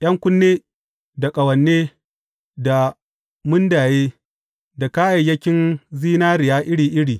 ’Yan kunne, da ƙawane, da mundaye, da kayayyakin zinariya iri iri.